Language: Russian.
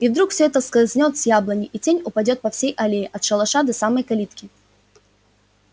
и вдруг все это скользнёт с яблони и тень упадёт по всей аллее от шалаша до самой калитки